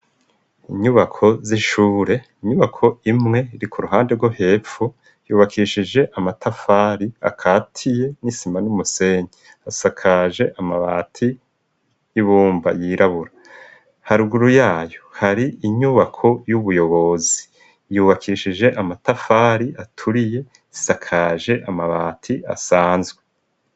inyubako z'ishure inyubako imwe uri kuruhande rwo hepfu yubakishije amatafari akatiye n'isima n'umusenyi asakaje amabati y'ibumba yirabura ha ruguru yayo hari inyubako y'ubuyobozi yubakishije amatafari aturiye isakaje amabati asanzwe